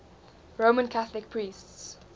roman catholic priests